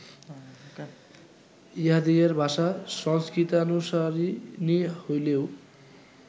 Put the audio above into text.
ইঁহাদিগের ভাষা সংস্কৃতানুসারিণী হইলেও